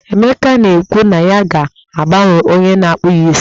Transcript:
Emeka na-ekwu na ya ga-agbanwe onye na-akpụ ya isi.